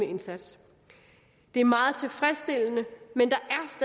indsats det er meget tilfredsstillende men der